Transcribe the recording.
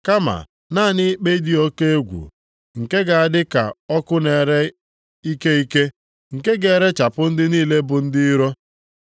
Kama naanị ikpe dị oke egwu, nke ga-adị ka ọkụ na-ere ike ike, nke ga-erechapụ ndị niile bụ ndị iro.